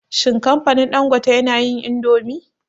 Shin kamfanin Dangote yana yin indomi?